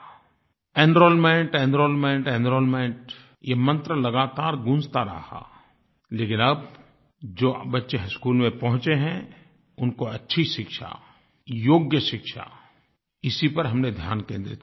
enrolment enrolment enrolment ये मंत्र लगातार गूँजता रहा लेकिन अब जो बच्चे स्कूल में पहुंचे हैं उनको अच्छी शिक्षा योग्य शिक्षा इसी पर हमने ध्यान केन्द्रित करना होगा